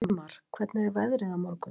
Hleyp í skarðið fyrir Sigvalda!